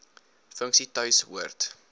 funksie tuis hoort